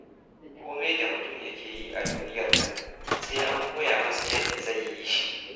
Kome da mutum yake yi a duniyar nan sai an koya masa yadda zai yi shi.